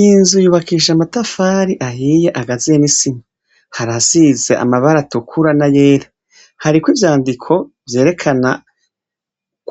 Iyi nzu yubakishije amatafari ahiye agazuyemwo isima harahasize amabara atukura n'ayera ,hariko ivyandiko vyerekana